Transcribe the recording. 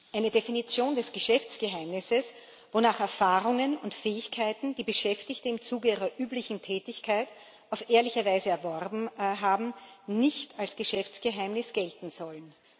Eine Definition des Geschäftsgeheimnisses, wonach Erfahrungen und Fähigkeiten, die Beschäftigte im Zuge ihrer üblichen Tätigkeit auf ehrliche Weise erworben haben, nicht als Geschäftsgeheimnis gelten sollen.